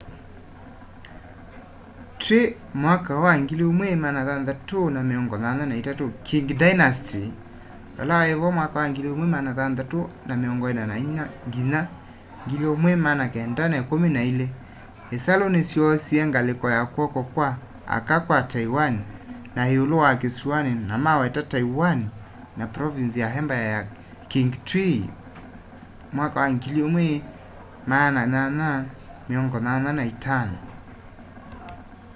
twi 1683 qing dynasty 1644-1912 isalu nisyoosie ngaliko ya kw'oko kwa aka kwa taiwan na iulu wa kisuani na maweta taiwan na province ya embaya ya qing twi 1885